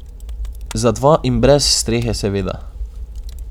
Za dva in brez strehe seveda.